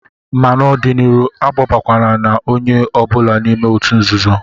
Ma n'ọdịnịhu, akpọbakwa na onye ọ bụla n'ime òtù nzuzo!